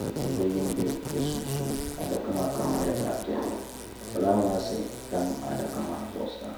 ka dundoli bɛ di sunsuuni adaka maa kama nyɛla zaɣ piɛlli ka fulaawaasi tam adaka maa zuɣusaa